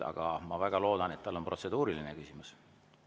Aga ma väga loodan, et tal on protseduuriline küsimus.